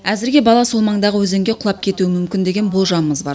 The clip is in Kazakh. әзірге бала сол маңдағы өзенге құлап кетуі мүмкін деген болжамымыз бар